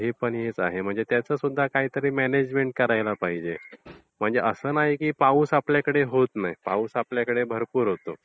ते पण हेच आहे म्हणजे त्याचे सुद्धा काहीतरी म्यानेजमेंट करायलाच पाहिजे. असं नाही की आपल्याकडे पाऊस पडत नाही. पाऊस आपल्याकडे भरपूर असतो.